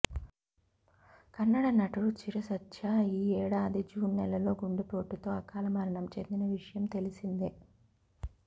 కన్నడ నటుడు చిరుసర్జా ఈ ఏడాది జూన్ నెలలో గుండెపోటుతో అకాల మరణం చెందిన విషయం తెలిసిందే